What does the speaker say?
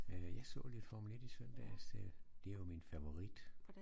Jeg så lidt Formel 1 i søndags det er jo min favorit